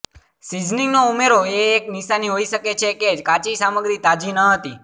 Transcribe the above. સીઝનીંગનો ઉમેરો એ એક નિશાની હોઈ શકે છે કે કાચી સામગ્રી તાજી ન હતી